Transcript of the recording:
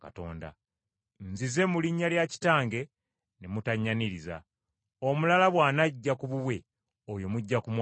Nzize mu linnya lya Kitange ne mutannyaniriza. Omulala bw’anajja ku bubwe oyo mujja kumwaniriza.